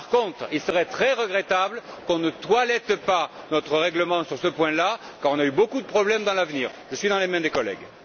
Par contre, il serait très regrettable qu'on ne toilette pas notre règlement sur ce point là quand on a eu beaucoup de problèmes dans le passé. Je suis dans les mains des collègues.